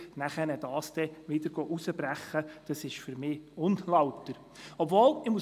Ich sage das explizit auch als Gemeindevertreter, der von dieser Verlagerung negativ betroffen ist.